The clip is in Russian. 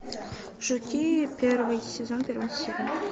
жуки первый сезон первая серия